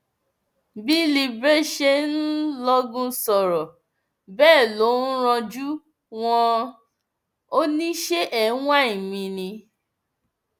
bí libre ṣe ń lọgun sọrọ bẹẹ ló ń ranjú wánán ò ní ṣe é ń wáìnì mi ni